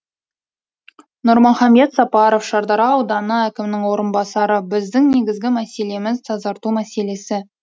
нұрмахамбет сапаров шардара ауданы әкімінің орынбасары біздің негізгі мәселеміз тазарту мәселесі